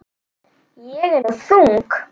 Ég er nú þung.